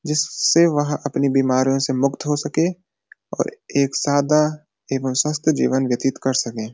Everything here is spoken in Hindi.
जिससे वह अपनी बीमारियों से मुक्त हो सके और एक साधा एवं स्वस्थ जीवन व्यतीत के सके।